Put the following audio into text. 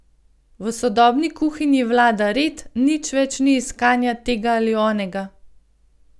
V sodobni kuhinji vlada red, nič več ni iskanja tega ali onega.